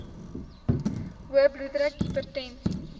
hoë bloeddruk hipertensie